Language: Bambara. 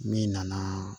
Min nana